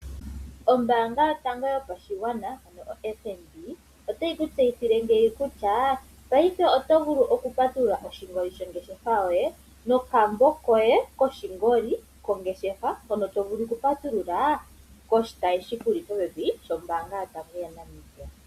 Ombaanga yotango yopashigwana ano o FNB, otayi ku tseyithile ngino kutya paifeoto vulu okupatulula oshingoli shongeshefa yoye, nokambo koye koshingoli kongeshefa yoye, hono to vulu okupatulula koshitayi shi kuli popepi sho mbaanga yotango yaNamibia.